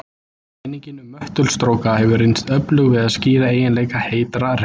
Kenningin um möttulstróka hefur reynst öflug við að skýra eiginleika heitra reita.